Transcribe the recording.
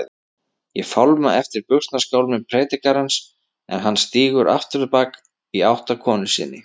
Ég fálma eftir buxnaskálmum predikarans en hann stígur afturábak, í átt til konu sinnar.